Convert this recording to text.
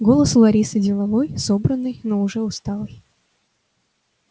голос у ларисы деловой собранный но уже усталый